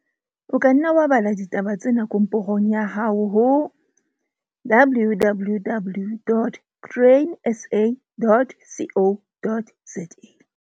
O ka nna wa bala ditaba tsena komporong ya hao ho www dot grainsa dot co dot za.